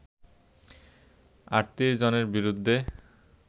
৩৮ জনের বিরুদ্ধে